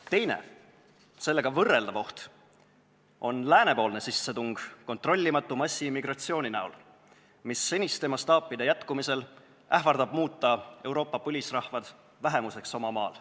Teine, sellega võrreldav oht on läänepoolne sissetung kontrollimatu massiimmigratsiooni kujul, mis seniste mastaapide jätkumise korral ähvardab muuta Euroopa põlisrahvad vähemuseks oma maal.